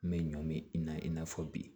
N bɛ ɲɔ mi i na i n'a fɔ bi